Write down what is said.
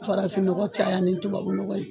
Farafin nɔgɔ caya ni tubabu nɔgɔ ye.